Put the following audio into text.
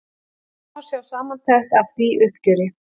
Hér má sjá samantekt af því uppgjöri.